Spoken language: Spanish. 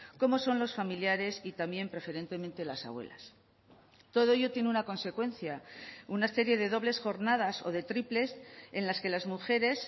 como son los familiares y también preferentemente las abuelas todo ello tiene una consecuencia una serie de dobles jornadas o de triples en las que las mujeres